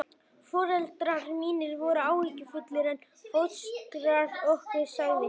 Foreldrar mínir voru áhyggjufullir, en fóstra okkar sagði upp úr eins manns hljóði